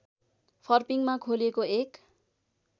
फर्पिङमा खोलिएको एक